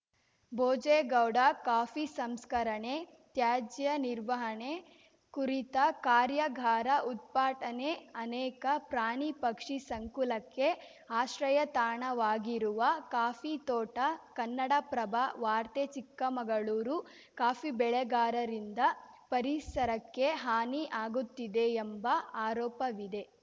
Bhojegowda coffee ಸಂಸ್ಕರಣೆ ತ್ಯಾಜ್ಯ ನಿರ್ವಹಣೆ ಕುರಿತ ಕಾರ್ಯಾಗಾರ ಉತ್ಪಾಟನೆ ಅನೇಕ ಪ್ರಾಣಿ ಪಕ್ಷಿ ಸಂಕುಲಕ್ಕೆ ಆಶ್ರಯ ತಾಣವಾಗಿರುವ ಕಾಫಿ ತೋಟ ಕನ್ನಡಪ್ರಭ ವಾರ್ತೆ ಚಿಕ್ಕಮಗಳೂರು ಕಾಫಿ ಬೆಳೆಗಾರರಿಂದ ಪರಿಸರಕ್ಕೆ ಹಾನಿ ಆಗುತ್ತಿದೆ ಎಂಬ ಆರೋಪವಿದೆ